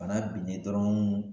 Bana binnen dɔrɔn